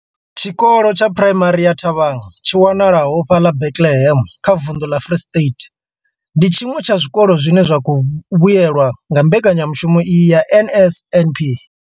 Tshikolo tsha Phuraimari ya Thabang tshi wanalaho fhaḽa Bethlehem kha vunḓu ḽa Free State, ndi tshiṅwe tsha zwikolo zwine zwa khou vhuelwa nga mbekanya mushumo iyi ya NSNP.